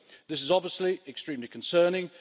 This is obviously extremely concerning.